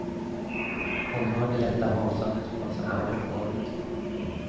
Hon hör det lätta hasandet från sandaler på golvet.